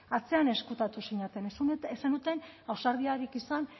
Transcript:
atzean ezkutatu zineten ez zenuten ausardiarik izan